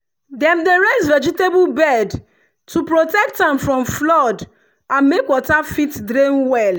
dem dey raise vegetable bed to protect am from flood and make water fit drain well.